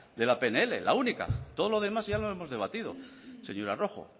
de la pnl la única todo lo demás ya lo hemos debatido señora rojo